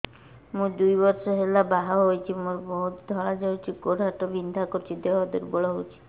ମୁ ଦୁଇ ବର୍ଷ ହେଲା ବାହା ହେଇଛି ମୋର ବହୁତ ଧଳା ଯାଉଛି ଗୋଡ଼ ହାତ ବିନ୍ଧା କରୁଛି ଦେହ ଦୁର୍ବଳ ହଉଛି